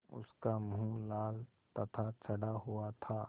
उसका मुँह लाल तथा चढ़ा हुआ था